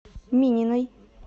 мининой